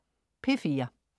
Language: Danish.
P4: